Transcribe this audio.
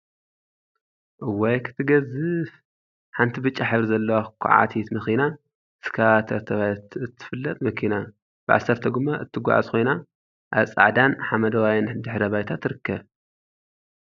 እዋይ ክትገዝፍ! ሓንቲ ብጫ ሕብሪ ዘለዋ ኩዓቲት መኪና/እስከቫተር/ተባሂላ እትፍለጥ መኪና ብዓሰርተ ጎማ እትጓዓዝ ኮይና፣ አብ ፃዕዳን ሓመደዋይን ድሕረ ባይታ ይርከብ፡፡